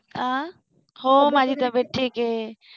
आह हो माझी तब्येत ठीक आहे.